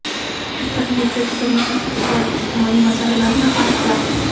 bir nechta juda muhim iqtisodiy-ijtimoiy masalalarni hal qiladi.